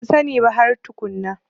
Ban sani ba har tukunna.